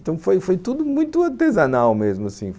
Então foi foi tudo muito artesanal mesmo assim.